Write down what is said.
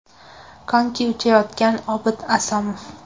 Konki uchayotgan Obid Asomov.